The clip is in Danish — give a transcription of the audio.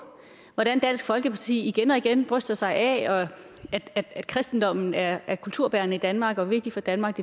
hvordan dansk folkeparti igen og igen bryster sig af at kristendommen er er kulturbærende i danmark og vigtig for danmark